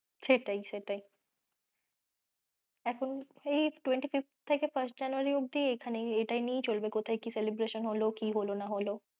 সেটাই সেটাই, এখন সেই twenty-fifth থেকে first January অব্দি মানে এটা নিয়েই চলবে কোথায় কি celebration হলো কি হলো না হলো,